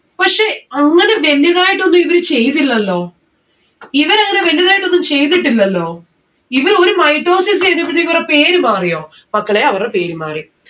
പക്ഷെ അങ്ങനെ genuine ആയിട്ടൊന്നും ഇവര് ചെയ്യുന്നില്ലല്ലോ? ഇവർ അങ്ങനെ വലുതായിട്ടൊന്നും ചെയ്തിട്ടില്ലല്ലോ. ഇവർ ഒരു mitosis ചെയ്തേ പിന്നെ ഇവരെ പേര് മാറിയോ? മക്കളെ അവരെ പേര് മാറി.